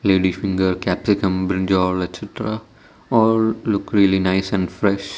lady finger capsicum brinjal etcetera all look really nice and fresh.